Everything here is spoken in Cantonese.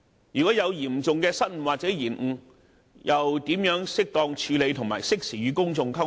若有嚴重的失誤或延誤，又應如何妥善處理，並適時與公眾溝通？